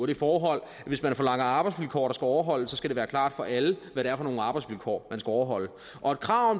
det forhold at hvis man forlanger arbejdsvilkår der skal overholdes skal det være klart for alle hvad det er for nogle arbejdsvilkår man skal overholde og et krav